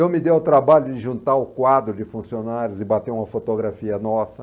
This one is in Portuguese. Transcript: Eu me dei ao trabalho de juntar o quadro de funcionários e bater uma fotografia nossa.